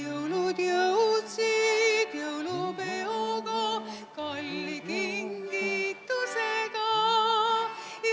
Jõulud jõudsid jõulupeoga, kalli kingitusega.